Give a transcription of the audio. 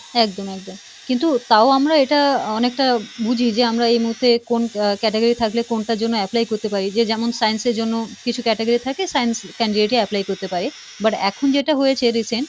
একদম একদম কিন্তু তাও আমরা এটা আহ অনেকটা বুঝি যে আমরা এ মুহূর্তে কোন আহ category থাকলে কোনটার জন্য apply করতে পারি যে যেমন science এর জন্য কিছু category থাকে science candidate ই apply করতে পারে, but এখন যেটা হয়েছে recent,